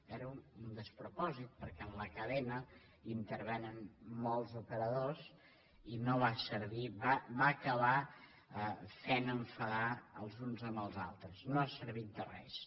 era un despropòsit perquè en la cadena intervenen molts operadors i no va servir va acabar fent enfadar els uns amb els altres no ha servit de res